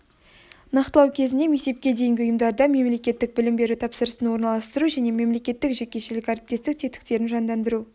нақтылау кезінде мектепке дейінгі ұйымдарда мемлекеттік білім беру тапсырысын орналастыру және мемлекеттік-жекешелік әріптестік тетіктерін жандандыру